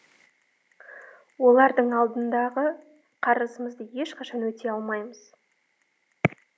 олардың алдындағы қарызымызды ешқашан өтей алмаймыз